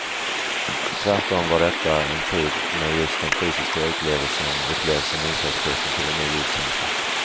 Tvärtom var detta en tid när just det fysiska utlevelsen upplevdes som inkörsporten till en ny livskänsla.